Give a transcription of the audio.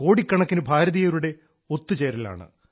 കോടിക്കണക്കിന് ഭാരതീയരുടെ ഒത്തുചേരലാണ്